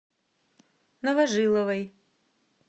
новожиловой